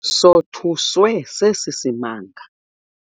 Sothuswe sesi simanga.